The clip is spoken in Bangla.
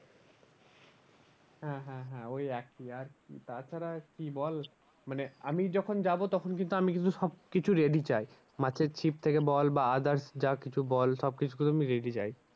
হ্যাঁ হ্যাঁ হ্যাঁ ওই একই আর কি তা ছাড়া কি বল মানে আমি যখন যাবো তখন কিন্তু আমি কিন্তু সব কিছু ready চাই। মাছের ছিপ থেকে বল বা others যা কিছু বল সব কিছু কিন্তু আমি ready চাই